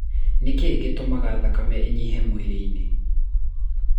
Nĩ kĩ gĩtũmaga thakame ĩnyihe mwĩrĩine?